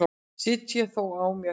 Sit þó á mér.